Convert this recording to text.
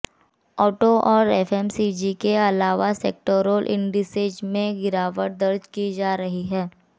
auto और FMCG के अलावा सभी सेेक्टोरल इंडिसेज में गिरावट दर्ज की जा रही है